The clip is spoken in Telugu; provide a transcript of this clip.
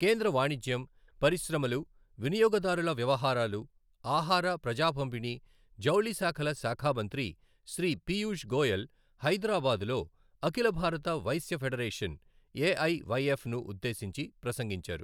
కేంద్ర వాణిజ్యం, పరిశ్రమలు, వినియోగ దారుల వ్యవహారాలు, ఆహార, ప్రజా పంపిణీ, జౌళి శాఖల శాఖా మంత్రి శ్రీ పీయూష్ గోయల్ హైదరాబాద్ లో అఖిల భారత వైశ్య ఫెడరేషన్ ఎఐవైఎఫ్ ను ఉద్దేశించి ప్రసంగించారు.